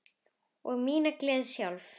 Ég á mína gleði sjálf.